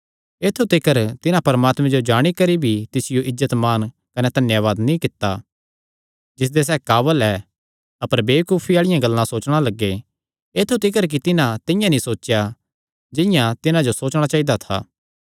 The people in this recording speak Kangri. ऐत्थु तिकर तिन्हां परमात्मे जो जाणी करी भी तिसियो इज्जत मान कने धन्यावाद नीं कित्ता जिसदे सैह़ काबल ऐ अपर वेबकूफी आल़िआं गल्लां सोचणा लग्गे ऐत्थु तिकर कि तिन्हां तिंआं नीं सोचेया जिंआं तिन्हां जो सोचणा चाइदा था